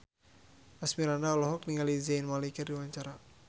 Asmirandah olohok ningali Zayn Malik keur diwawancara